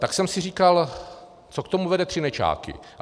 Tak jsem si říkal, co k tomu vede Třinečáky.